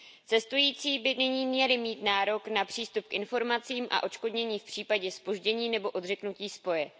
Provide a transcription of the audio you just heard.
Cestující by nyní měli mít nárok na přístup k informacím a odškodnění v případě zpoždění nebo odřeknutí spoje.